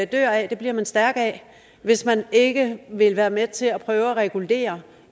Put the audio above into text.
dør af bliver man stærk af hvis man ikke vil være med til at prøve at regulere